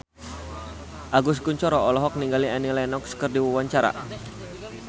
Agus Kuncoro olohok ningali Annie Lenox keur diwawancara